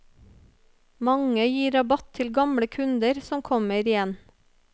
Mange gir rabatt til gamle kunder som kommer igjen.